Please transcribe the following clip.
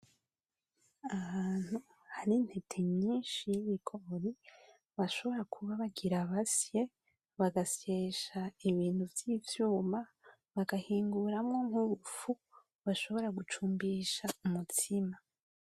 Ahantu hari intete nyishi y'ibigori bashobora kuba bagira basye, bagasyesha ibintu vy'ivyuma bagahinguramwo nk'ubufu bashobora gucumbisha umutsima.